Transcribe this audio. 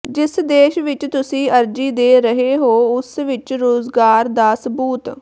ਜਿਸ ਦੇਸ਼ ਵਿੱਚ ਤੁਸੀਂ ਅਰਜ਼ੀ ਦੇ ਰਹੇ ਹੋ ਉਸ ਵਿੱਚ ਰੁਜ਼ਗਾਰ ਦਾ ਸਬੂਤ